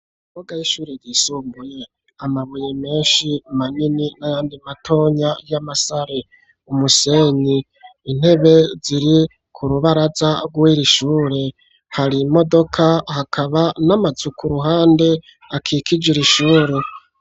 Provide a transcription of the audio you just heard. imbuga y'ishure ryisumbuye .Amabuye menshi manini n'ayandi matonya y'amasare .Umusenyi . Intebe ziri ku rubaraza , rwiri shure . Har'imodoka hakaba n'amazu ku ruhande akikij'iri shure.